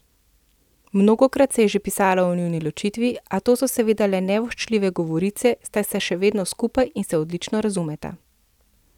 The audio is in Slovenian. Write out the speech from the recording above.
Mnogokrat se je že pisalo o njuni ločitvi, a so to seveda le nevoščljive govorice, saj sta še vedno skupaj in se odlično razumeta.